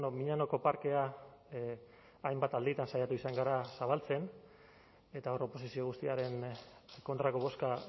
miñanoko parkea hainbat alditan saiatu izan gara zabaltzen eta hor oposizio guztiaren kontrako bozka